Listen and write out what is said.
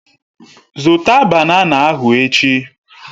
Zụta banana ahụ echi!